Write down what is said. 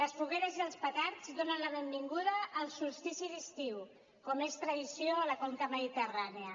les fogueres i els petards donen la benvinguda al solstici d’estiu com és tradició a la conca mediterrània